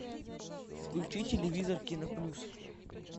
включи телевизор кино плюс